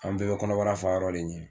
An bɛɛ bɛ kɔnɔbara fayɔrɔ de ɲini